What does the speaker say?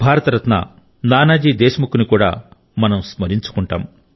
భారత రత్న నానాజీ దేశ్ ముఖ్ కూడా మనం స్మరించుకుంటాం